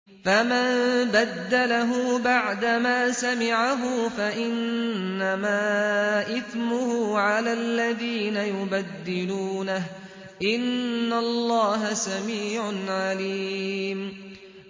فَمَن بَدَّلَهُ بَعْدَمَا سَمِعَهُ فَإِنَّمَا إِثْمُهُ عَلَى الَّذِينَ يُبَدِّلُونَهُ ۚ إِنَّ اللَّهَ سَمِيعٌ عَلِيمٌ